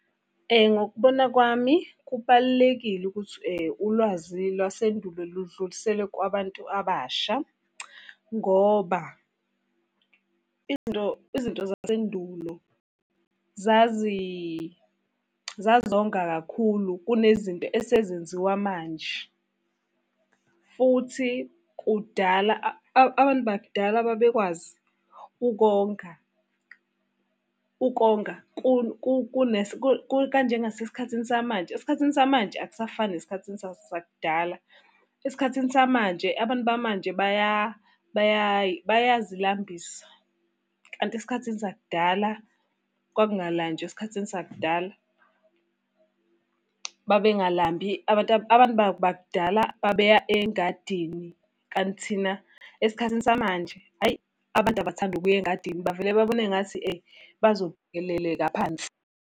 Ngokubona kwami kubalulekile ukuthi ulwazi lwasendulo ludluliselwe kubantu abasha, ngoba izinto izinto zasendulo zazonga kakhulu kune zinto esezenziwa manje. Futhi kudala abantu bakudala babekwazi ukonga. Ukonga kanjengasesikhathini samanje, esikhathini samanje akusafani esikhathini sakudala. Esikhathini samanje, abantu bamanje bayazilambisa kanti esikhathini sakudala kwakungalanjwa esikhathini sakudala. Babengalambi abantu bakudala babeya engadini. Kanti thina esikhathini samanje, hhayi abantu abakuthandi ukuya engadini bavele babone ngathi phansi.